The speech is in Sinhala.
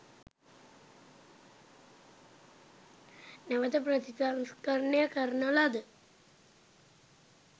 නැවත ප්‍රතිසංස්කරණ කරන ලද